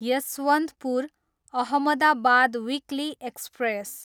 Yesvantpur, Ahmedabad weekly express